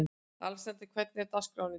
Alexander, hvernig er dagskráin í dag?